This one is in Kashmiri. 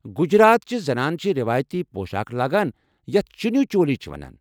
گجرات چہِ زنانہٕ چھِ روایتی پۄشاكھ لاگان یتھ چنیو چولی چھِ وَنان۔